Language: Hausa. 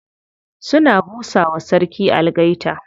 Suna busa wa sarki algaita.